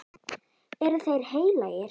Eru þeir heilagir?